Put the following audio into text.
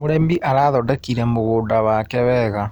Mũrĩmi arathondekire mũgũnda wake wega.